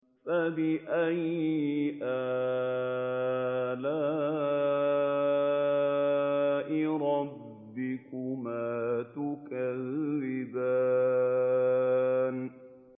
فَبِأَيِّ آلَاءِ رَبِّكُمَا تُكَذِّبَانِ